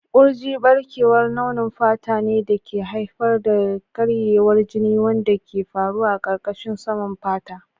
Kurji ɓarkewar launin fata ne da ke haifar da karyewar jini wanda ke faruwa a ƙarƙashin saman fata.